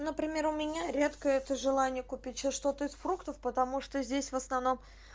например у меня редко это желание купить что-то из фруктов потому что здесь в основном